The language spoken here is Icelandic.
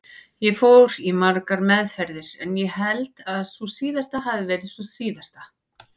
Ég fór í margar meðferðir en ég held að sú síðasta hafi verið sú síðasta.